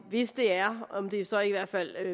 hvis det er om det så i hvert fald